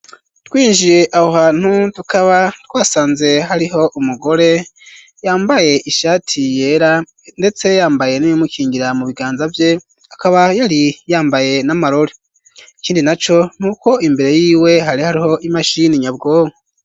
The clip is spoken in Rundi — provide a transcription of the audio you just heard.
Twinjiye abo hantu, tukaba twasanze hariho umugore yambaye ishati yera ,ndetse yambaye n'ibimukingira mu biganza vye, akaba yari yambaye n'amaroli ikindi na co ,nuko imbere yiwe hari hariho imashini nyabwobo.